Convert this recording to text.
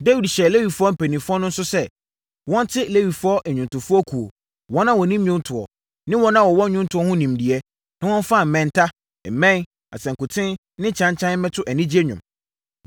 Dawid hyɛɛ Lewifoɔ mpanimfoɔ no nso sɛ, wɔnte Lewifoɔ nnwomtofoɔ kuo, wɔn a wɔnim nnwontoɔ, ne wɔn a wɔwɔ nnwontoɔ ho nimdeɛ na wɔmfa mmɛnta, mmɛn, asankuten ne kyankyan mmɛto anigyeɛ nnwom.